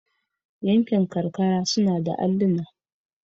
Yankin karkara suna da alluna.